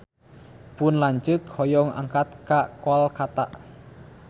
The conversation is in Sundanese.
Pun lanceuk hoyong angkat ka Kolkata